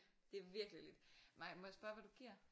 Det virkelig lidt nej må jeg spørge hvad du giver?